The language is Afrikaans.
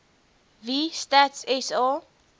wie stats sa